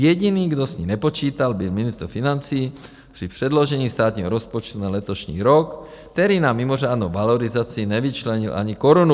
Jediný, kdo s ní nepočítal, byl ministr financí při předložení státního rozpočtu na letošní rok, který na mimořádnou valorizaci nevyčlenil ani korunu.